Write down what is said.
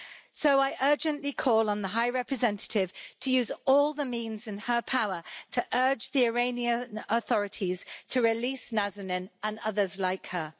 So I urgently call on the High Representative to use all the means in her power to urge the Iranian authorities to release Nazanin and others like her.